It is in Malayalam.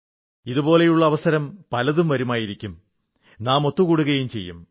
ഇതുപോലുള്ള അവസരം പലതും വരുമായിരിക്കും നാം ഒത്തു കൂടുകയും ചെയ്യും